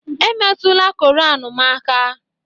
Emetụla Koran m aka!